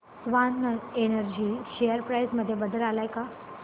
Swan energy share price मध्ये बदल आलाय का